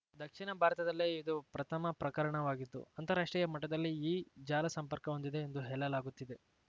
ದಕ್ಷಿಣ ಭಾರತದಲ್ಲೇ ಇದು ಪ್ರಥಮ ಪ್ರಕರಣವಾಗಿದ್ದು ಅಂತಾರಾಷ್ಟ್ರೀಯ ಮಟ್ಟದಲ್ಲಿ ಈ ಜಾಲ ಸಂಪರ್ಕ ಹೊಂದಿದೆ ಎಂದು ಹೇಳಲಾಗುತ್ತಿದೆ